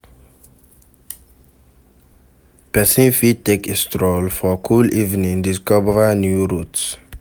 Persin fit take a stroll for cool evening discover new routes